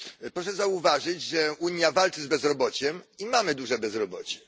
Proszę zauważyć, że Unia walczy z bezrobociem i mamy duże bezrobocie.